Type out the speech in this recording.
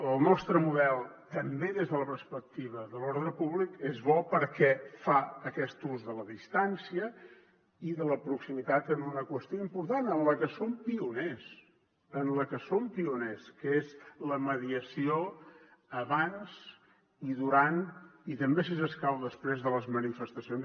el nostre model també des de la perspectiva de l’ordre públic és bo perquè fa aquest ús de la distància i de la proximitat en una qüestió important en la que som pioners en la que som pioners que és la mediació abans i durant i també si escau després de les manifestacions